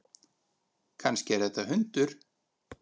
Kannski er þetta hundur?